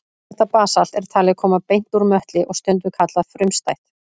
Þetta basalt er talið koma beint úr möttli og stundum kallað frumstætt.